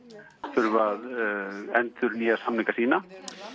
þurfa að endurnýja samninga sína